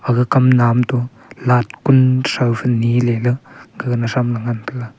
gaga kam nam tu lat kun thophai nyi le ley gaga thram ngan taiga.